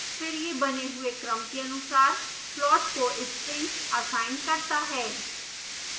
फिर यह बने हुए क्रम के अनुसार प्लॉट को strings असाइन करता है